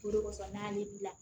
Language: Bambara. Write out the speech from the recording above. Bolokosan naani bila